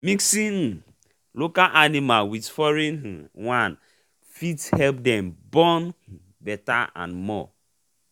mixing um local animal with with foreign um one fit help them born um better and more.